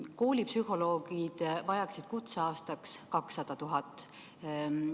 Koolipsühholoogid vajaksid kutseaastaks 200 000 eurot.